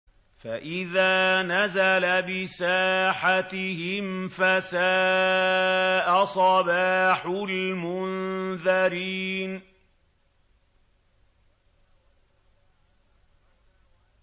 فَإِذَا نَزَلَ بِسَاحَتِهِمْ فَسَاءَ صَبَاحُ الْمُنذَرِينَ